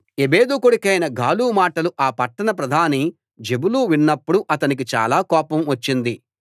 ఎబెదు కొడుకైన గాలు మాటలు ఆ పట్టణ ప్రధాని జెబులు విన్నప్పుడు అతనికి చాలా కోపం వచ్చింది